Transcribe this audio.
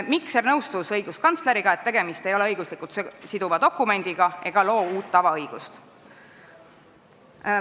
Mikser nõustus õiguskantsleriga, et tegemist ei ole õiguslikult siduva dokumendiga ja see ei loo uut tavaõigust.